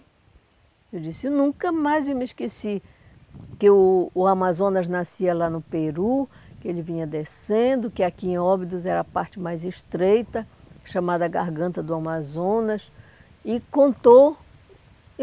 Eu disse, eu nunca mais eu me esqueci que o o Amazonas nascia lá no Peru, que ele vinha descendo, que aqui em Óbidos era a parte mais estreita, chamada Garganta do Amazonas, e contou.